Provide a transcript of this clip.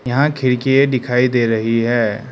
यहां खिड़कीये दिखाई दे रही है।